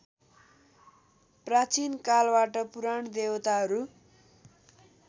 प्राचीनकालबाट पुराण देवताहरू